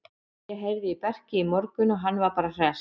Ég heyrði í Berki í morgun og hann var bara hress.